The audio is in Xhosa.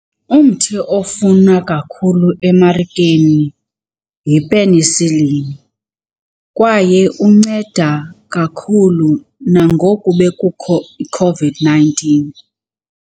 Umthi ofunwa kakhulu emarikeni yi-penicillin kwaye unceda kakhulu, nangoku bekukho iCOVID-nineteen.